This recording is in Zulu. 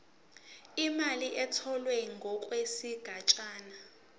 imali etholwe ngokwesigatshana